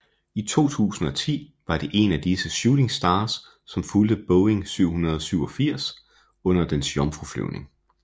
I 2010 var det en af disse Shooting Stars som fulgte Boeing 787 under dens jomfruflyvning